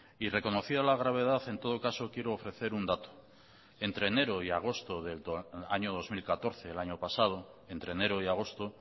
y reconocida la gravedad en todo caso quiero ofrecer un dato entre enero y agosto del año dos mil catorce el año pasado entre enero y agosto